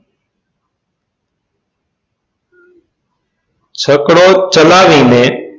છકડો ચલાવીને